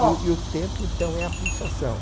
E o e o tempo, então, é a pulsação.